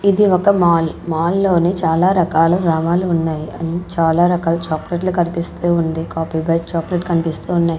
ఇది ఒక mall mall లోని చాలా రకాల సమన్లు ఉన్నాయి చాలా రకాల చాక్లెట్లు కనిపిస్తూ ఉంది కాపీ బైట్ చాక్లెట్ కనిపిస్తూ ఉన్నాయి.